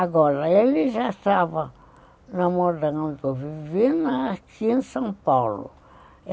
Agora, ele já estava onde eu vivi, aqui em São Paulo.